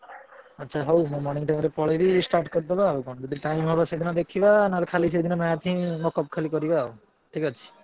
ଆଚ୍ଛା ହଉ ମୁଁ morning time ରେ ପଳେଇବି start କରିଦବା ଆଉ କଣ ଯଦି time ହବ ସେଦିନ ଦେଖିବା ନହେଲେ ଖାଲି ସେଇଦିନ math ହିଁ mock up ଖାଲି କରିବା ଆଉ ଠିକ୍ ଅଛି।